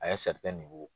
A ye